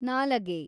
ನಾಲಗೆ